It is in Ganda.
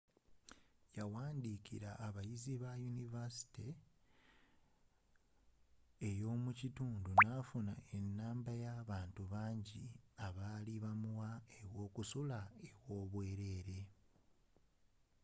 yawandiikira abayizi bayunivasite ey'omukitundu nafuna ennamba y'abantu bangi abaali bamuwa awokusula aw'obwerere